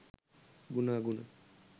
ගුණ අගුණ